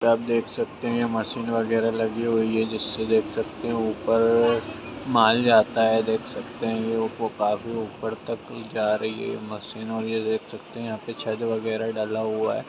आप देख सकते है मशीन वगेरा लगी हुयी है जिसे देख सकते है ऊपर माल जाता है देख सकते है खाफी ऊपर तक जा रही है मशीन और ये देख सकते हवे यहाँ पर छत वगेरा डाला हुवा है।